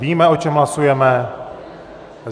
Víme, o čem hlasujeme.